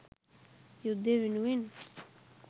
යුද්දෙ වෙනුවෙන්